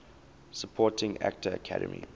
supporting actor academy